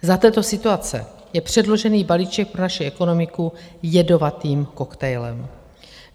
Za této situace je předložený balíček pro naši ekonomiku jedovatým koktejlem.